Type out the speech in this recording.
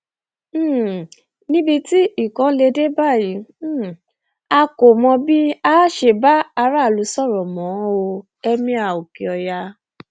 um níbi tí nǹkan lè dé báyìí um a kò mọ bí a ṣe máa bá aráàlú sọrọ mọ o emir okeoya